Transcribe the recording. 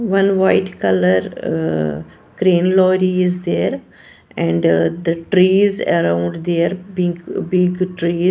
one white colour uh crane lorry is there and the trees around there big big trees.